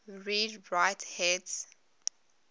read write heads